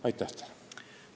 Aitäh teile!